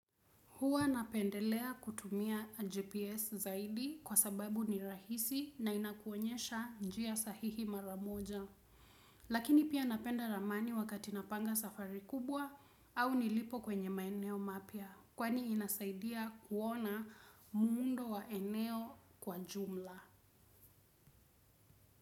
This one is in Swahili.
Hua napendelea kutumia GPS zaidi kwa sababu ni rahisi na inakuonyesha njia sahihi maramoja. Lakini pia napenda ramani wakati napanga safari kubwa au nilipo kwenye maeneo mapia kwani inasaidia kuona muundo wa eneo kwa jumla.